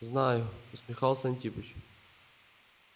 знаю усмехался антипыч